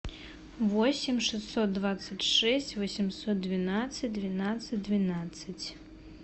восемь шестьсот двадцать шесть восемьсот двенадцать двенадцать двенадцать